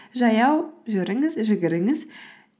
жаяу жүріңіз жүгіріңіз